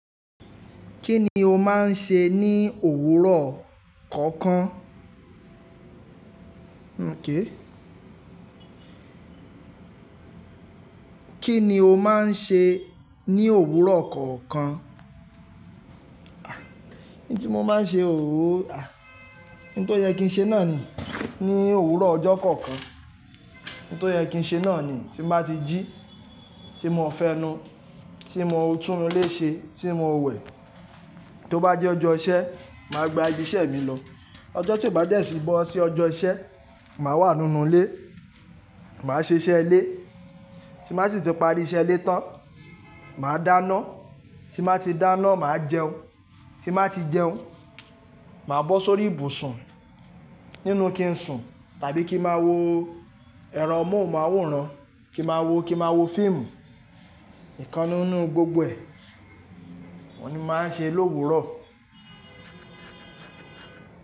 Kí ni o máa ń ṣe ní òwúrọ̀ kọ̀ọ̀kan? Kí ni o máa ń ṣe ní òwúrọ̀ kọ̀ọ̀kan? N tí mo máa ń ṣe, n tó yẹ kí n ṣe náà ni ní òwúrọ̀ ọjọ́ kọ̀ọ̀kan. N tó yẹ ki n ṣe náà ni, tí n ba ti ji, tí mo fẹnu, tí mo tun inu ile ṣe, tí mo wẹ̀. Tó bá jẹ́ ọjọ́ iṣẹ́, màá gba ibi iṣẹ́ mi lọ. Ọjọ́ tí ó bá dẹ si bọ́ sí ọjọ́ iṣẹ́, màá wà nínú ilé, màá ṣe iṣẹ́ ilé. Tí n ba si ti pari iṣẹ́ ilé tán, màá dáná. Tí màá ti dáná, màá jẹun. Tí n ba ti jẹun, màá bọ́ s'órí ìbùsùn nínú kí n sùn tàbí kí n ma wo ẹrọ mohunmaworan kí n ma wo fíìmù. Ìkannú nínú gbogbo ẹ̀. Òun ní màá ń ṣe l'òwúrọ̀.